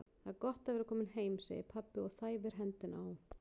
Það er gott að vera kominn heim, segir pabbi og þæfir hendina á